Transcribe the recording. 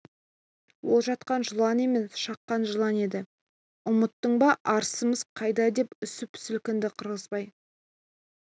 ол жатқан жылан емес шаққан жылан еді ғой ұмыттың ба арысымыз қайда деп үсіп сілкінді қырғызбай